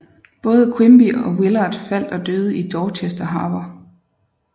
Både Quimby og Willard faldt og døde i Dorchester Harbor